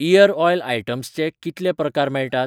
Year oil आयटम्सचे कितले प्रकार मेळटात?